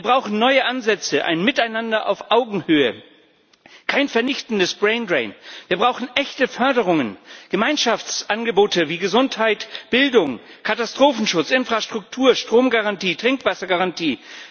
Wir brauchen neue Ansätze ein Miteinander auf Augenhöhe, keinen vernichtenden Braindrain. Wir brauchen echte Förderungen Gemeinschaftsangebote wie Gesundheit, Bildung, Katastrophenschutz, Infrastruktur, Strom und Trinkwassergarantie.